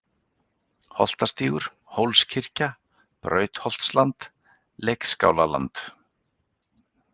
Holtastígur, Hólskirkja, Brautarholtsland, Leikskálaland